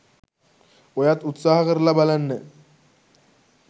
ඔයත් උත්සහ කරලා බලන්න.